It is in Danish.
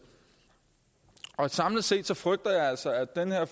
og samlet set frygter jeg altså at det her